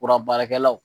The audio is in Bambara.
Kuran baarakɛlaw